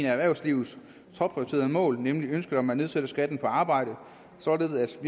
erhvervslivets topprioritet mål nemlig ønsket om at nedsætte skatten på arbejde således at